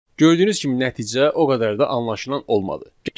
Gördüyünüz kimi nəticə o qədər də anlaşılan olmadı.